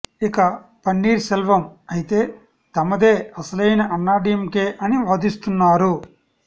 ఇక పన్నీర్ సెల్వం అయితే తమదే అసలైన అన్నాడీఎంకే అని వాదిస్తున్నారు